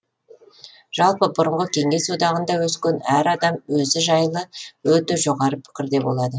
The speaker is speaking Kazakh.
жалпы бұрынғы кеңес одағында өскен әр адам өзі жайлы өте жоғары пікірде болады